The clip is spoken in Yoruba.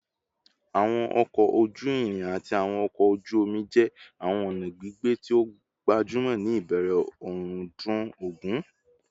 Awọn ọkọ oju-irin ati awọn ọkọ oju omi jẹ awọn ọna gbigbe ti o gbajumọ ni ibẹrẹ ọrundun ogun